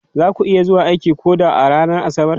Za ku iya zuwa aiki ko da a ranar Asabar?